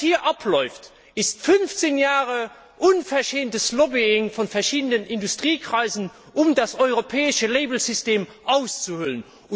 Was hier abläuft, ist fünfzehn Jahre unverschämtes Lobbying von verschiedenen Industriekreisen, um das europäische Kennzeichnungssystem auszuhöhlen.